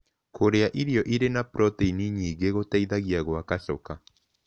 Kũrĩa irio ĩrĩ na proteĩnĩ nyĩngĩ gũteĩthagĩa gwaka choka